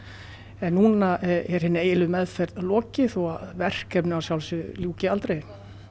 en núna er hinni eiginlegu meðferð lokið þó að verkefninu ljúki aldrei